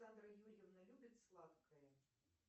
александра юрьевна любит сладкое